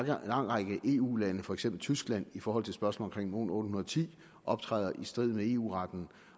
lang række eu lande for eksempel tyskland i forhold til spørgsmålet om mon810 optræder i strid med eu retten